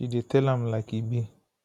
she dey tell am like e be